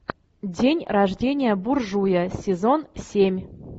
день рождения буржуя сезон семь